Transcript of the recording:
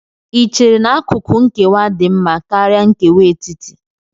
Ì chere na akụkụ nkewa dị mma karịa nkewa etiti?